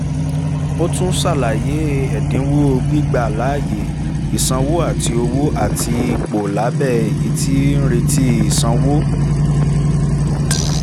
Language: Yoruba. o tun ṣalaye e ẹdinwo gbigba laaye isanwo ati owo ati ipo labẹ eyi ti ń reti isanwo